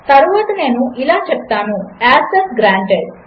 తరువాతనేనుఇలాచెప్తాను access granted